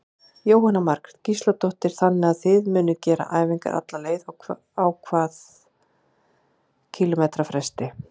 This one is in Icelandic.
Jóhanna Margrét Gísladóttir: Þannig að þið munuð gera æfingar alla leið, á hvað kílómetra fresti?